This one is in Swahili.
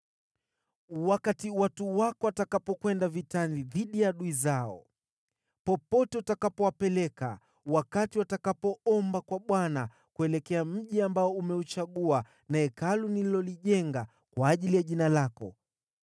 “Wakati watu wako watakapokwenda vitani dhidi ya adui zao, popote utakapowapeleka, wakati watakapoomba kwa Bwana kuelekea mji ambao umeuchagua, na Hekalu nililolijenga kwa ajili ya Jina lako,